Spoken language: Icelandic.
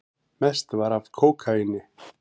Mest var af kókaíni.